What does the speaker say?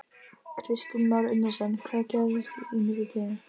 Kristján Már Unnarsson: Hvað gerðist í millitíðinni?